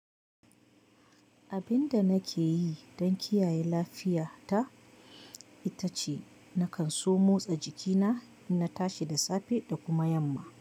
Yanda nakeyi dan kiyaye lafiya ta ita ce na kan so motsa jikina, in na tashi da safe da kuma yamma.